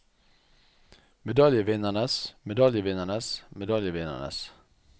medaljevinnernes medaljevinnernes medaljevinnernes